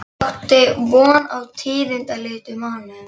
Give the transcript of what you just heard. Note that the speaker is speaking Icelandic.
Ég átti von á tíðindalitlum mánuðum.